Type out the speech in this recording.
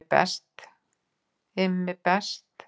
IMMI BEST